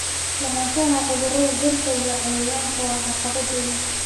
Lahaanshaha cudurrada dhirta iyo cayayaanka waa caqabad weyn.